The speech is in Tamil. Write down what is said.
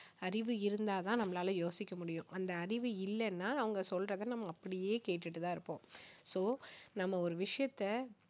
அறிவு இருந்தா தான் நம்மளால யோசிக்க முடியும் அந்த அறிவு இல்லன்னா அவங்க சொல்றதை நம்ம அப்படியே கேட்டுட்டு தான் இருப்போம் so நாம ஒரு விஷயத்தை